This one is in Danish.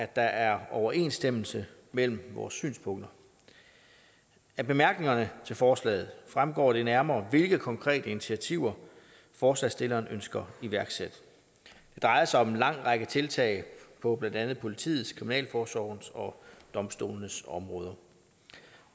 der er overensstemmelse mellem vores synspunkter af bemærkningerne til forslaget fremgår det nærmere hvilke konkrete initiativer forslagsstilleren ønsker iværksat det drejer sig om en lang række tiltag på blandt andet politiets kriminalforsorgens og domstolenes områder